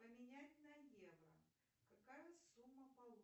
поменять на евро какая сумма получится